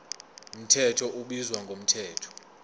mthetho ubizwa ngomthetho